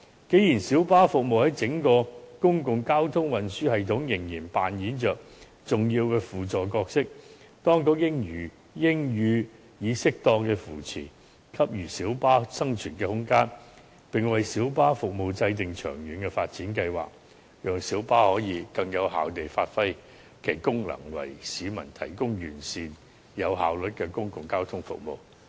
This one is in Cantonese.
既然小巴服務在整個公共交通運輸系統仍然扮演着重要的輔助角色，當局應予以適當扶持，給予小巴生存空間，並為小巴服務制訂長遠發展計劃，讓小巴可以更有效地發揮其功能，為市民提供完善及有效率的公共交通服務。